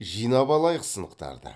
жинап алайық сынықтарды